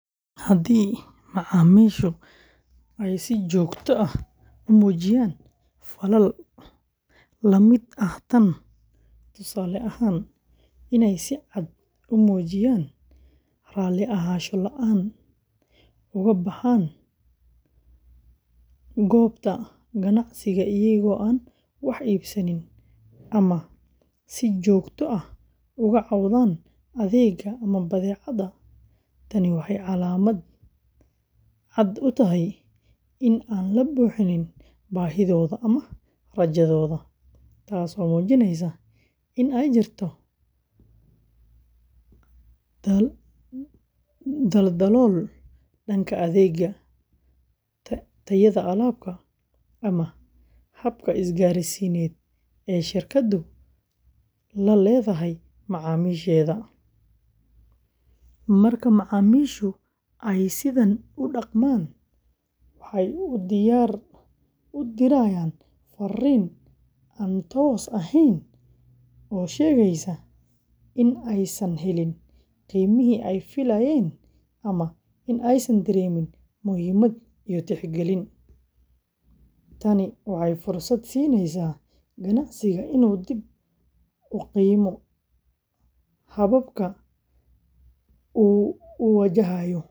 Haddii macaamiishu ay si joogto ah u muujiyaan falal la mid ah tan, tusaale ahaan, inay si cad u muujiyaan raalli ahaansho la’aan, uga baxaan goobta ganacsiga iyaga oo aan wax iibsan, ama si joogto ah uga cawdaan adeegga ama badeecadda, tani waxay calaamad cad u tahay in aan la buuxin baahidooda ama rajadooda, taasoo muujinaysa in ay jirto daldalool dhanka adeegga, tayada alaabta, ama habka isgaarsiineed ee shirkaddu la leedahay macaamiisheeda. Marka macaamiishu ay sidan u dhaqmaan, waxay u dirayaan fariin aan toos ahayn oo sheegaysa in aysan helin qiimihii ay filayeen ama in aysan dareemin muhiimad iyo tixgelin. Tani waxay fursad siinaysaa ganacsiga inuu dib u qiimeeyo hababka uu u wajahayo macaamiisha.